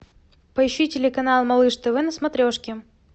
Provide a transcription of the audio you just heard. поищи телеканал малыш тв на смотрешке